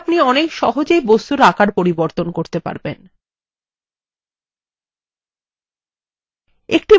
যদি shift key টেপেন তাহলে আপনি অনেক size বস্তুর পুনঃ মাপ করতে পারবেন